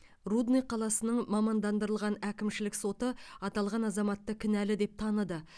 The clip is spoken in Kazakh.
рудный қаласының мамандандырылған әкімшілік соты аталған азаматты кінәлі деп таныды